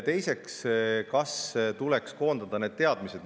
Teiseks see, kas tuleks koondada need teadmised.